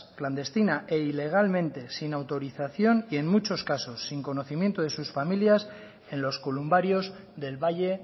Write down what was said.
clandestina e ilegalmente sin autorización y en muchos casos sin conocimiento de sus familias en los columbarios del valle